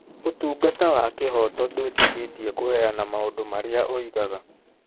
Ũtungata wa kĩhooto ndwĩtĩkĩtie kũheana maũndũ marĩa oigaga.